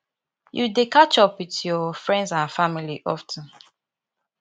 you dey catch up with your friends and family of ten